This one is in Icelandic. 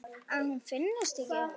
Að hún finnist ekki.